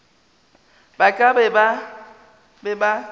ba ka ba be ba